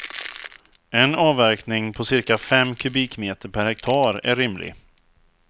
En avverkning på cirka fem kubikmeter per hektar är rimlig.